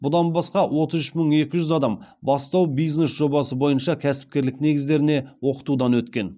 бұдан басқа отыз үш мың екі жүз адам бастау бизнес жобасы бойынша кәсіпкерлік негіздеріне оқытудан өткен